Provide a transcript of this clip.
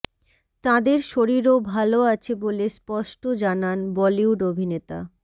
তাঁদের শরীরও ভাল আছে বলে স্পষ্ট জানান বলিউড অভিনেতা